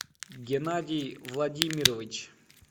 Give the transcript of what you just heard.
геннадий владимирович